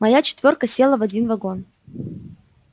моя четвёрка села в один вагон